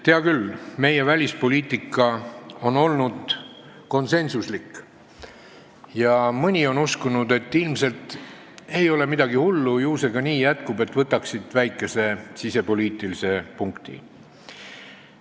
Hea küll, meie välispoliitika on olnud konsensuslik ja mõni on uskunud, et ilmselt ei ole midagi hullu, ju see nii ka jätkub, võtaks siit väikese sisepoliitilise punkti.